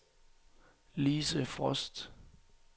Lise Frost